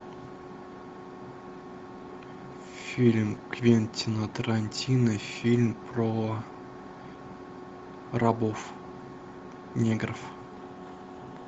фильм квентина тарантино фильм про рабов негров